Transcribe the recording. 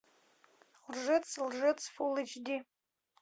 лжец лжец фул эйч ди